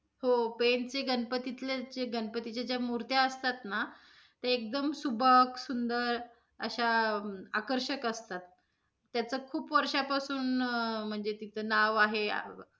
हो पेंनचे गणपतीतले जे गणपतीच्या ज्या मूर्ती असतात, ना त्या एकदम सुबक, सुंदर अश्या आकर्षक असतात. त्याचं खूप वर्षा पासून~ म्हणजे तिथं नाव आहे.